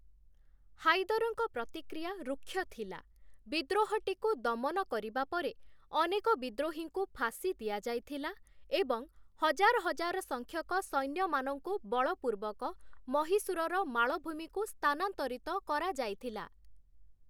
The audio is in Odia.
ହାଇଦରଙ୍କ ପ୍ରତିକ୍ରିୟା ରୁକ୍ଷ ଥିଲା, ବିଦ୍ରୋହଟିକୁ ଦମନ କରିବା ପରେ, ଅନେକ ବିଦ୍ରୋହୀଙ୍କୁ ଫାଶୀ ଦିଆଯାଇଥିଲା ଏବଂ ହଜାର ହଜାର ସଂଖ୍ୟକ ସୈନ୍ୟମାନଙ୍କୁ ବଳପୂର୍ବକ ମହୀଶୂରର ମାଳଭୂମିକୁ ସ୍ଥାନାନ୍ତରିତ କରାଯାଇଥିଲା ।